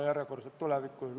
Läheme lõpphääletuse juurde.